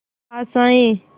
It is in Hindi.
आशाएं